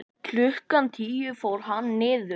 Klukkan tíu fór hann niður.